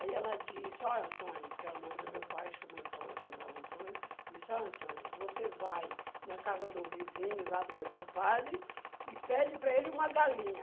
Aí ela disse, olha Antônio, que era o nome do meu pai, chama Antônio chamava Antônio, disse, olha Antônio, você vai na casa do vizinho, lá do meu compadre, e pede para ele uma galinha.